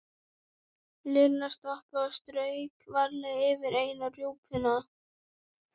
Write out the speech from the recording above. Lilla stoppaði og strauk varlega yfir eina rjúpuna.